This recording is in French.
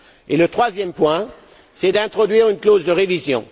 Et le troisième point, c'est l'introduction d'une clause de révision.